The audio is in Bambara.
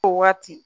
O waati